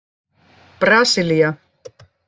Brasilía